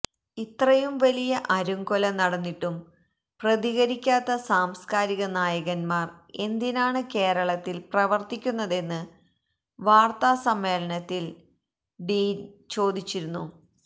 ഇത്രയും വലിയ അരുംകൊല നടന്നിട്ടും പ്രതികരിക്കാത്ത സാംസ്കാരിക നായകന്മാര് എന്തിനാണ് കേരളത്തില് പ്രവര്ത്തിക്കുന്നതെന്ന് വാര്ത്താസമ്മേളനത്തില് ഡീന് ചോദിച്ചിരുന്നു